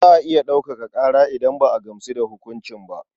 Za a iya ɗaukaka ƙara idan ba a gamsu da hukunci ba.